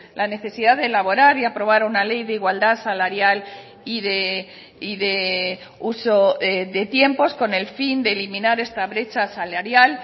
la necesidad de elaborar y aprobar una ley de igualdad salarial y de uso de tiempos con el fin de eliminar esta brechas salarial